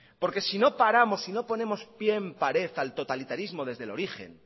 porque si no paramos si no ponemos pie en pared al totalitarismo desde el origen